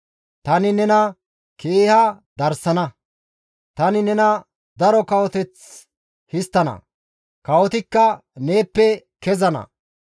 Tani nena keeha darsana; tani nena daro kawoteth histtana; kawotikka neeppe kezana.